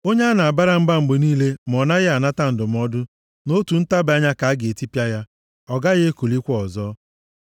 Onye a na-abara mba mgbe niile ma ọ naghị anata ndụmọdụ, nʼotu ntabi anya ka a ga-etipịa ya, ọ gaghị ekulikwa ọzọ.